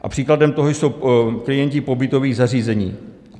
A příkladem toho jsou klienti pobytových zařízení.